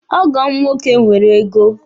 Ọgọ m nwoke nwere ego.